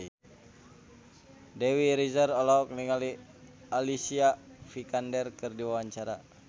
Dewi Rezer olohok ningali Alicia Vikander keur diwawancara